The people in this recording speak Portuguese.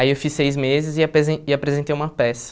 Aí eu fiz seis meses e apese e apresentei uma peça.